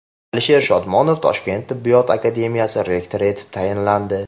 Alisher Shodmonov Toshkent tibbiyot akademiyasi rektori etib tayinlandi.